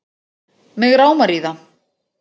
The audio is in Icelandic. Mig rámar í það